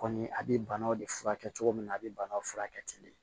Kɔni a bɛ banaw de furakɛ cogo min na a bɛ banaw furakɛ ten